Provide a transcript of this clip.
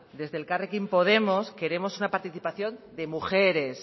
desde elkarrekin podemos queremos una participación de mujeres